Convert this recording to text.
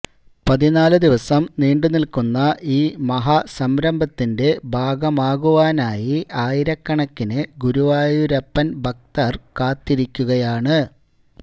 പതിനാലു ദിവസം നീണ്ടു നിൽക്കുന്ന ഈ മഹാസംരഭത്തിന്റെ ഭാഗമാകുവാനായിആയിരക്കണിക്കിന് ഗുരുവായൂരപ്പൻ ഭക്തർ കാത്തിരിക്കുകയാണ്